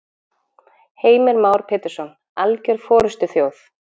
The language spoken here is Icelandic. Heimir Már Pétursson: Alger forystuþjóð?